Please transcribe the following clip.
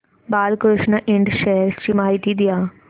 Balkrishna Ind shares ची माहिती द्या